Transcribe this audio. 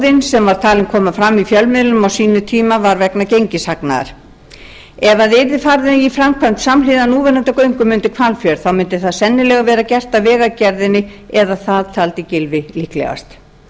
gróðinn sem var talinn koma fram í fjölmiðlum á sínum tíma var vegna gengishagnaðar ef farið yrði í framkvæmd samhliða núverandi göngum undir hvalfjörð þá mundi það sennilega vera gert af vegagerðinni eða það taldi gylfi líklegast